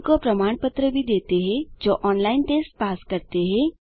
उनको प्रमाण पत्र भी देते हैं जो ऑनलाइन टेस्ट पास करते हैं